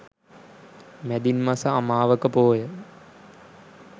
මැදින් මස අමාවක පෝය